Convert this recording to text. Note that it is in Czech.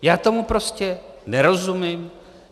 Já tomu prostě nerozumím.